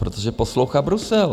Protože poslouchá Brusel.